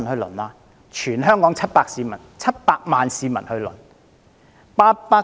供全港700萬市民輪候。